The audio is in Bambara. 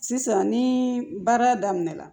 Sisan ni baara daminɛ na